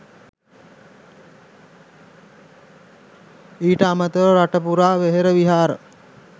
ඊට අමතරව රටපුරා වෙහෙර විහාර